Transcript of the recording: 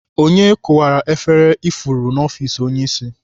Onye kụwara efere ifuru n'ọfiks onye isi?